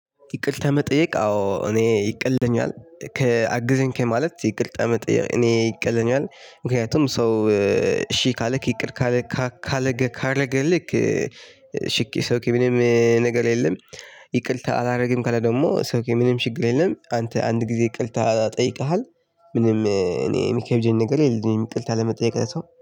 ይቅርታ መጠየቅ አዎ እኔ ይቀለኛል ከአግዘኝ ከማለት ይቅርታ መጠየቅ እኔ ይቀልኛል ምክንያቱም ሰው እ እሺ ካለክ ይቅር ካለክ ካረገ ካረገልክ ምንም ነገር የለም። ይቅርታ አላደርግም ካለ ደግሞ ምንም ችግር የለም። አንተ አንድ ጊዜ ይቅርታ ጠይቀሀል። እኔ ምንም ይቅርታ ለመጠየቅ የሚከብደኝ ነገር የለም።